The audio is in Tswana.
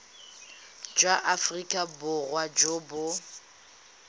jwa aforika borwa jo bo